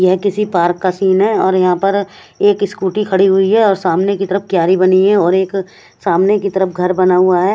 यहाँ किसी पार्क का सीन है और यहाँ पर एक स्कूटी खड़ी हुई है और सामने की तरफ एक क्यारी बनी हुई है और एक सामने की तरफ घर बना हुआ है।